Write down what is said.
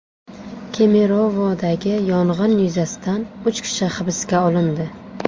Kemerovodagi yong‘in yuzasidan uch kishi hibsga olindi.